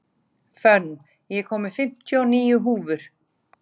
Fönn, ég kom með fimmtíu og níu húfur!